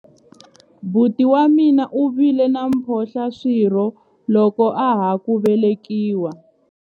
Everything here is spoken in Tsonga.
buti wa mina u vile na mphohlaswirho loko a ha ku velekiwa